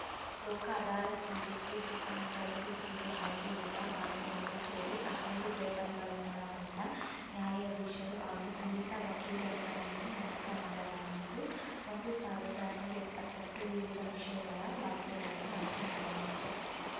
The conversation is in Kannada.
ಲೋಕ ಅದಾಲತ್‌ನಲ್ಲಿಂದು ಚಿಕ್ಕಮಗಳೂರು ಜಿಲ್ಲೆ ಹಾಗೂ ಎಲ್ಲಾ ತಾಲೂಕುಗಳು ಸೇರಿ ಹನ್ನೆರಡು ಟೇಬಲ್‌ಗಳನ್ನೊಳಗೊಂಡ ನ್ಯಾಯಾಧೀಶರು ಹಾಗೂ ನುರಿತ ವಕೀಲರುಗಳನ್ನು ನೇಮಕ ಮಾಡಲಾಗಿದ್ದು ಒಂದು ಸಾವಿರದ ಐನೂರ ಎಪ್ಪತ್ತೆಂಟು ವಿವಿಧ ವಿಷಯಗಳ ವ್ಯಾಜ್ಯಗಳನ್ನು ಆಯ್ಕೆ ಮಾಡಲಾಗಿದೆ